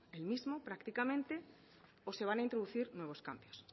el mismo prácticamente o se van a introducir nuevos cambios